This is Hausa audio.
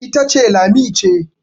ita ce Lami ce